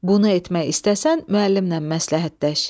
Bunu etmək istəsən, müəllimlə məsləhətləş.